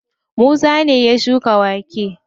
Musa ne ya shuka wake.